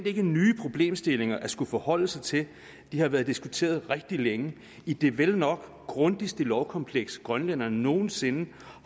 ikke nye problemstillinger at skulle forholde sig til de har været diskuteret rigtig længe i det vel nok grundigste lovkompleks grønlænderne nogen sinde